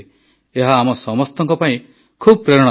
ଏହା ଆମ ସମସ୍ତଙ୍କ ପାଇଁ ଖୁବ୍ ପ୍ରେରଣାଦାୟକ